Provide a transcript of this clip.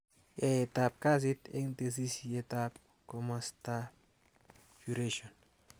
Yaeteab kasit eng tesisyitab komosatab Curation